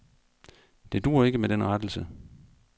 Det duer ikke med den rettelse.